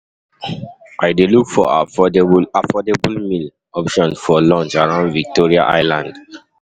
I dey look for affordable affordable meal options for lunch around Victoria Island